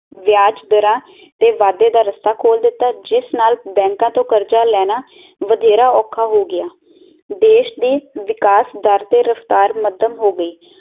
ਵਿਆਜ ਦਰਾ ਤੇ ਵਾਧੇ ਦਾ ਰਸਾ ਖੋਲ ਦਿੱਤਾ ਜਿਸ ਨਾਲ ਬੈਂਕਾ ਤੋਂ ਕਰਜ਼ਾ ਲੈਣਾ ਵਧੇਰਾ ਔਖਾ ਹੋ ਗਿਆ ਦੇਸ਼ ਦੀ ਵਿਕਾਸ ਦਰ ਤੇ ਰਫਤਾਰ ਮੱਧਮ ਹੋ ਗਈ